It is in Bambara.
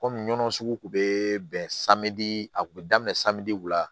Kɔmi ɲɔnɔ sugu kun bɛ bɛn a kun bɛ daminɛ la